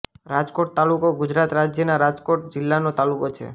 રાજકોટ તાલુકો ગુજરાત રાજ્યના રાજકોટ જિલ્લાનો તાલુકો છે